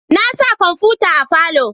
Na sa kwamfuta a falo